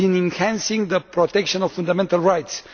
and in enhancing the protection of fundamental rights.